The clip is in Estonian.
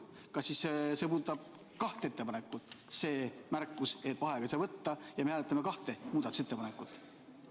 Kas siis see märkus, et vaheaega ei saa võtta, puudutab kahte ettepanekut ja me hääletame kahte muudatusettepanekut?